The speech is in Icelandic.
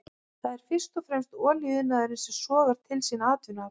Það er fyrst og fremst olíuiðnaðurinn sem sogar til sín vinnuafl.